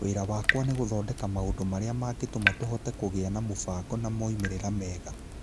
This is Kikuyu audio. Wĩra wakwa nĩ gũthondeka maũndũ marĩa mangĩtũma tũhote kũgĩa mũbango na moimĩrĩro mega.